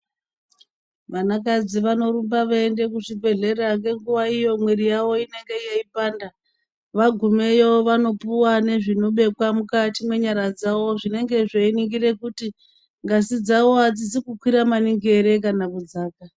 Vanakadzi vanorumba veiende kuzvibhehlera ngenguwa iyo mwiri yawo inenge yeipanda, vagumeyo vanopuwe nezvinobekwa mukati mwenyara dzavo zvinenge zveiningira kuti ngazi dzawo adzizi kukwira maningi ere kana kudzaka.